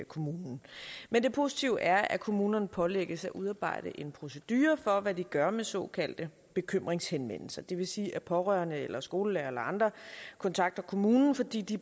kommunen men det positive er at kommunerne pålægges at udarbejde en procedure for hvad de gør med såkaldte bekymringshenvendelser det vil sige at pårørende eller skolelærere eller andre kontakter kommunen fordi de